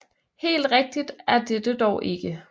Helt rigtigt er dette dog ikke